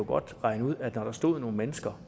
godt regne ud at når der stod nogle mennesker